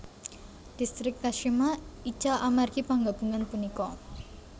Distrik Kashima ical amargi panggabungan punika